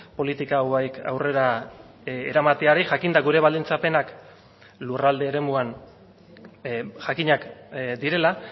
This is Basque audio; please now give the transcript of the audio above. politika hauek aurrera eramateari jakinda gure baldintzapenak lurralde eremuan jakinak direla